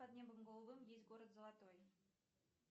под небом голубым есть город золотой